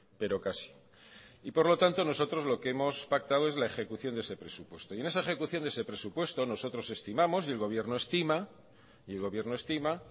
pero casi y por lo tanto nosotros lo que hemos pactado es la ejecución de ese presupuesto y en esa ejecución de ese presupuesto nosotros estimamos y el gobierno estima